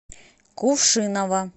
кувшиново